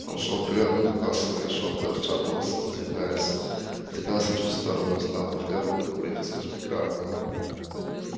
он шёл вперёд натыкался на решётку отшатывался сдвигался чуть в сторону и снова повторял попытку пройти сквозь преграду